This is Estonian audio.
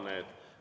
Avan need.